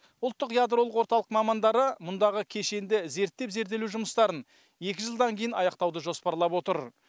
ұлттық ядролық орталық мамандары мұндағы кешенді зерттеп зерделеу жұмыстарын екі жылдан кейін аяқтауды жоспарлап отыр